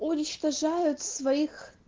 уничтожают своих